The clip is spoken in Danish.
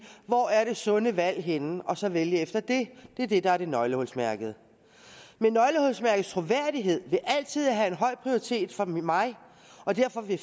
hvor er det sunde valg henne og så vælge efter det det er det der er nøglehulsmærket nøglehulsmærkets troværdighed vil altså have en høj prioritet for mig og derfor vil